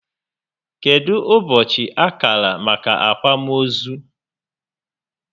Kedụ ụbọchị a kara maka akwamozu?